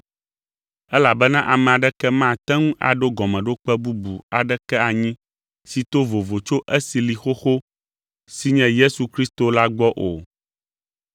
Elabena ame aɖeke mate ŋu aɖo gɔmeɖokpe bubu aɖeke anyi si to vovo tso esi li xoxo, si nye Yesu Kristo la gbɔ o.